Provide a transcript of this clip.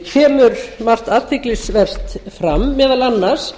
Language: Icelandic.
kemur margt athyglisvert fram meðal annars